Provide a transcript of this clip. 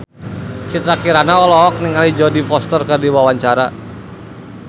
Citra Kirana olohok ningali Jodie Foster keur diwawancara